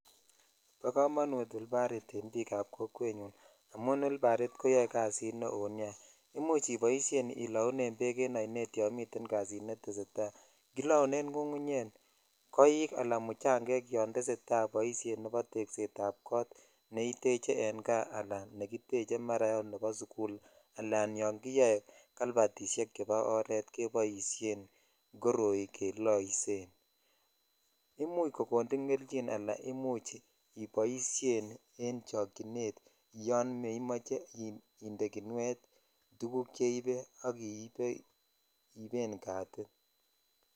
Bo komonut wilbarit en bik ab kokwet nyun amon wilbarit koyoe kasit neo nia imech iboishen ilounen bek en sinet yon miten kasit netesetai kilaunen ngungunyek ,koik ala muchangek yon tesetai boisioni nebo teset ab kot ne iteche en kaa ala nekitech ne mara ot bo sukul alan yon kiyoe kalbatishek chebo oret koboishen koroi keloishen . Imuch kokonin kelyin ala imuch iboishen en chokchhinet yon memoche indee kinuet tuguk cheibr ak ibee iben katit.